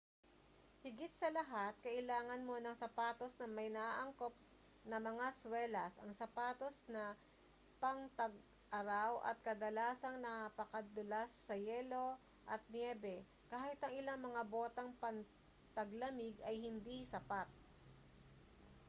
higit sa lahat kailangan mo ng sapatos na may naaangkop na mga swelas ang sapatos na pangtag-araw ay kadalasang napakadulas sa yelo at nyebe kahit ang ilang mga botang pangtaglamig ay hindi sapat